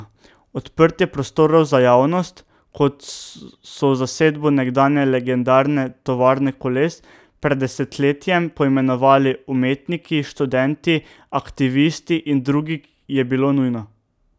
Odprtje prostorov za javnost, kot so zasedbo nekdanje legendarne tovarne koles pred desetletjem poimenovali umetniki, študenti, aktivisti in drugi, je bilo nujno.